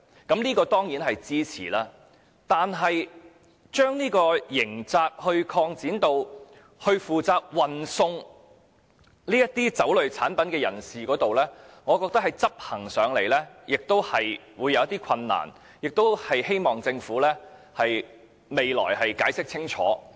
我當然支持這點，但把刑責擴展至負責運送酒類產品人士上，我覺得在執行上會有困難，希望政府日後能解釋清楚。